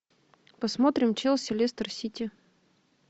посмотрим челси лестер сити